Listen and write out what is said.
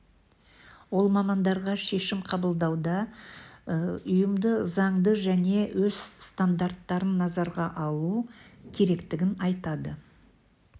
ол мамандарға шешім қабылдауда ұйымды заңды және өз стандарттарын назарға алу керектігін айтады